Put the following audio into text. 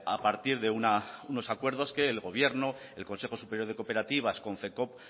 a partir de unos acuerdos que el gobierno y el consejo superior de cooperativas konfekoop